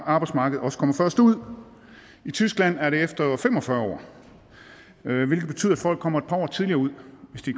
arbejdsmarkedet også kommer først ud i tyskland er det efter fem og fyrre år hvilket betyder at folk kommer et par år tidligere ud hvis de